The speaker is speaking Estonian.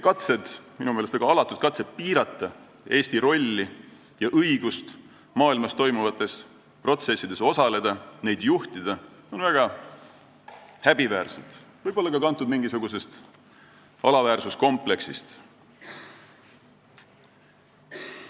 Katsed, minu meelest väga alatud katsed piirata Eesti rolli ja õigust maailmas toimuvates protsessides osaleda ja neid juhtida, on väga häbiväärsed, võib-olla on need kantud ka mingisugusest alaväärsuskompleksist.